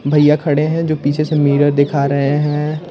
भैया खड़े है जो पीछे से मिरर दिखा रहे है।